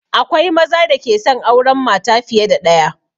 Akwai maza da ke son auren mata fiye da ɗaya